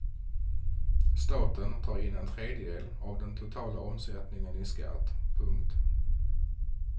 Staten tar in en tredjedel av den totala omsättningen i skatt. punkt